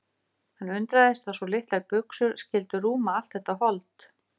Hann undraðist að svo litlar buxur skyldu rúma allt þetta hold.